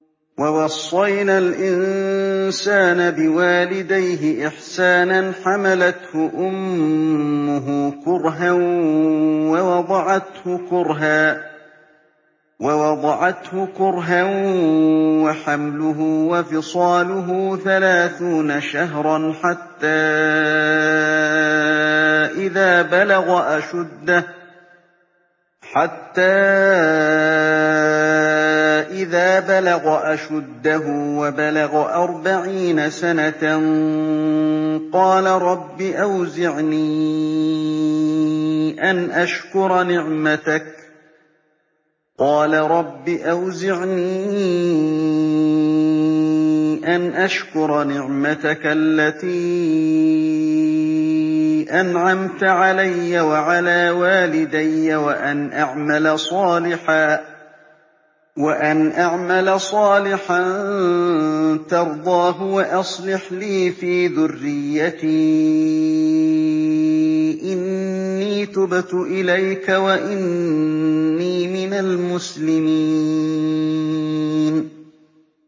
وَوَصَّيْنَا الْإِنسَانَ بِوَالِدَيْهِ إِحْسَانًا ۖ حَمَلَتْهُ أُمُّهُ كُرْهًا وَوَضَعَتْهُ كُرْهًا ۖ وَحَمْلُهُ وَفِصَالُهُ ثَلَاثُونَ شَهْرًا ۚ حَتَّىٰ إِذَا بَلَغَ أَشُدَّهُ وَبَلَغَ أَرْبَعِينَ سَنَةً قَالَ رَبِّ أَوْزِعْنِي أَنْ أَشْكُرَ نِعْمَتَكَ الَّتِي أَنْعَمْتَ عَلَيَّ وَعَلَىٰ وَالِدَيَّ وَأَنْ أَعْمَلَ صَالِحًا تَرْضَاهُ وَأَصْلِحْ لِي فِي ذُرِّيَّتِي ۖ إِنِّي تُبْتُ إِلَيْكَ وَإِنِّي مِنَ الْمُسْلِمِينَ